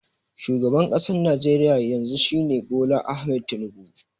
Shugaban ƙasar Najeriya yanzu shi ne Bola Ahmed Tinubu